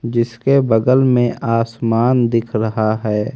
जिसके बगल में आसमान दिख रहा है।